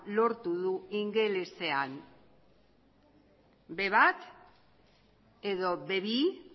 lortu du ingelesean be bat edo be bi